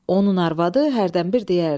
Onun arvadı hərdən bir deyərdi: